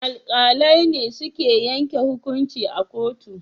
Alkalai ne suke yanke hukunci a kotu